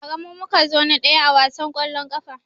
Ba ra mu muka zo na ɗaya a wasan kwallon kafa